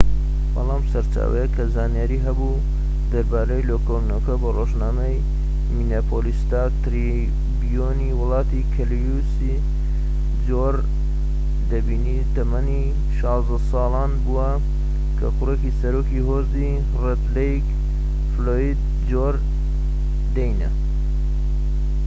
بەڵام سەرچاوەیەک کە زانیاری هەبوو دەربارەی لێکۆڵینەوەکە بە ڕۆژنامەی مینیاپۆلیس ستار تریبیون ی وت کە لویس جۆردەینی تەمەن ١٦ ساڵان بووە کە کوڕی سەرۆکی هۆزی ڕێد لەیک، فلۆید جۆردەینە